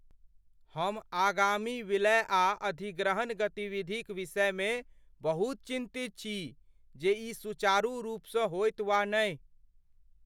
हम आगामी विलय आ अधिग्रहण गतिविधिक विषयमे बहुत चिन्तित छी जे ई सुचारू रूपसँ होयत वा नहि।